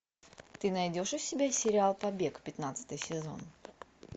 ты найдешь у себя сериал побег пятнадцатый сезон